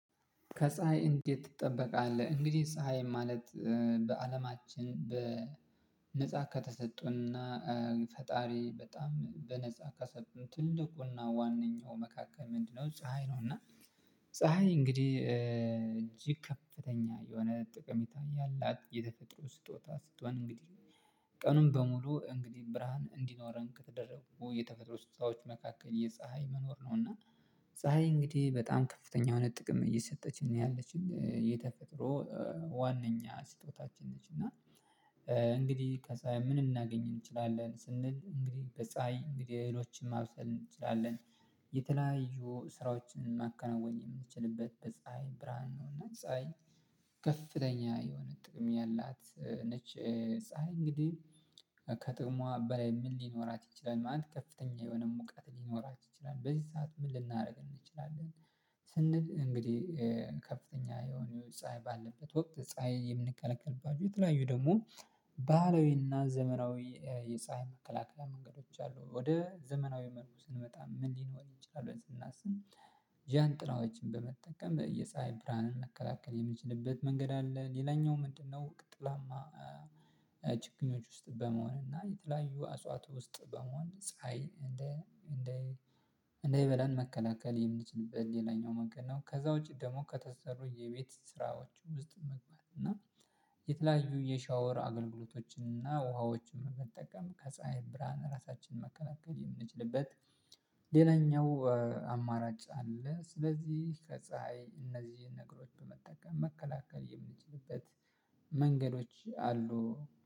ከፀሀይ እንዴት ትጠበቃለህ? እንግዲህ ፀሀይ ማለት በአለማችን በነፃ ከተሰጡና ፈጣሪ በጣም በነፃ ከሰጡ ትልቁና ዋነኛው መካከል ምንድነው ፀሀይ ነው? እና ፀሀይ እንግዲህ እጅግ ከፍተኛ የሆነ ጥቅም የታየው የተፈጥሮ ስጦታ ስጦን እንግዲህ ቀኑን በሙሉ እንግዲህ ብርሃን እንዲኖረን ከተደረጉ የተፈጥሮ ስጦታዎች መካከል የፀሀይ መኖር ነው። እና ፀሀይ እንግዲህ በጣም ከፍተኛ የሆነ ጥቅም እየሰጠች ነው ያለችኝ የተፈጥሮ ዋናኛ ስጦታችን ነች። እና እንግዲህ ከዛ ምን እናገኝ እንችላለን ስንል እንግዲህ በፀሀይ እንግዲህ እህሎችን ማብሰል እንችላለን። የተለያዩ ስራዎችን ማከናወን የምንችልበት በፀሀይ ብርሃን ነው እና ፀሀይ ከፍተኛ የሆነ ጥቅም ያላት ነች። ፀሀይ እንግዲህ ከጥቅሟ በላይ ምን ሊኖራት ይችላል? ማለት ከፍተኛ የሆነ ሙቀት ሊኖራችሁ ይችላል በዚህ ሰዓት ምን ልናደርግ እንችላለን? ስንል እንግዲህ ከፍተኛ የሆነ ፀሀይ ባለበት ወቅት ፀሀይ የምንከለከልባቸው የተለያዩ ደግሞ ባህላዊና ዘመራዊ የፀሀይ መከላከል መንገዶች አሉ። ወደ ዘመናዊ መልኩ ስንመጣ ምን ሊኖር ይችላል? ብለን ስናስብ ጃንጥላዎችን በመጠቀም የፀሀይ ብርሃንን መከላከል የምንችልበት መንገድ አለ። ሌላኛው ምንድነው? ጥላማ ችግኞች ውስጥ በመሆን እና የተለያዩ አጽዋት ውስጥ በመሆን ፀሀይ እንደ እንደ እንዳይበላን መከላከል የምንችልበት ሌላኛው መንገድ ነው። ከዛ ውጪ ደግሞ ከተሰሩ የቤት ስራዎቹ ውስጥ መግባት እና የተለያዩ የሻወር አገልግሎቶችን እና ውሃዎችን መጠቀም ከፀሀይ ብርሃን ራሳችንን መከላከል የምንችልበት ሌላኛው አማራጭ አለ። ስለዚህ ከፀሀይ እነዚህን ነገሮች በመጠቀም መከላከል የምንችልበት መንገዶች አሉ